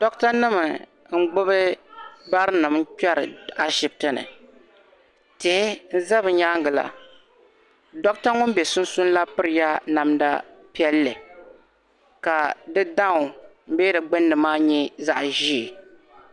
Dɔɣita nim n gbubi barinim, n kperi, ashibiti ni. tihi n ʒa bɛ nyaaŋa la. Dɔɣita ŋun be sunsuuni la pirila namda piɛli. ka digbuni nyɛ zaɣi ʒɛɛ.